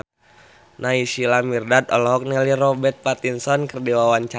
Naysila Mirdad olohok ningali Robert Pattinson keur diwawancara